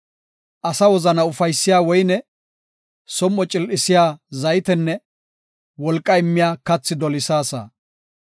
Asa wozana ufaysiya woyne, som7o cil7isiya zaytenne wolqa immiya kathi dolisaasa.